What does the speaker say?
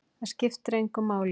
Það skiptir engu máli!